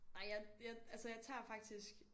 Nej jeg altså jeg tager faktisk